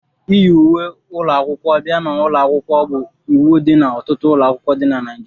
iyi uwe ụlọ akwụkwọ bia n'ụlọ akwụkwọ bụ iwu n'ọtụtụ ụlọ akwụkwọ dị na Naịjirịa